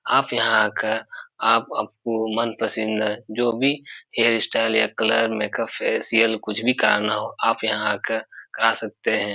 आप यहाँ आकर आप आपको मनपसंद जो भी हेयर स्टाइल या कलर मेक-अप फेसिअल या कुछ भी करना हो आप यहाँ आकर करा सकते हैं।